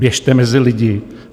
Běžte mezi lidi.